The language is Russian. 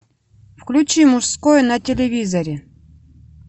включи мужской на телевизоре